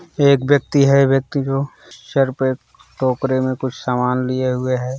एक व्यक्ति है व्यक्ति जो सिर पर टोकरे में कुछ सामान लिए हुए हैं।